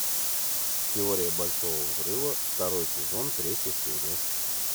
теория большого взрыва второй сезон третья серия